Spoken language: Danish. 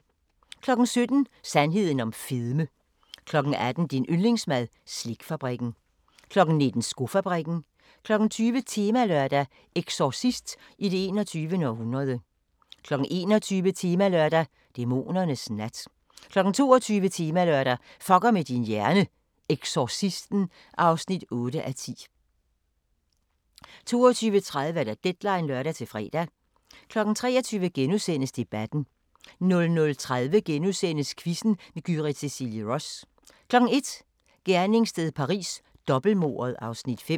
17:00: Sandheden om fedme 18:00: Din yndlingsmad: Slikfabrikken 19:00: Skofabrikken 20:00: Temalørdag: Exorcist i det 21. århundrede 21:00: Temalørdag: Dæmonernes nat 22:00: Temalørdag: Fuckr med dn hjrne – Eksorcisten (8:10) 22:30: Deadline (lør-fre) 23:00: Debatten * 00:30: Quizzen med Gyrith Cecilie Ross * 01:00: Gerningssted Paris: Dobbeltmordet (Afs. 5)